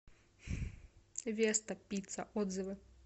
веста пицца отзывы